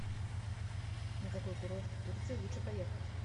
на какой курорт в турции лучше поехать